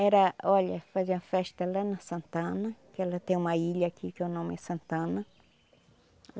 Era, olha, faziam a festa lá na Santana, que ela tem uma ilha aqui que o nome é Santana.